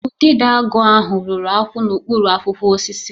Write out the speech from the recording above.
Udidoagu ahụ rụrụ akwụ n'okpuru akwụkwọ osisi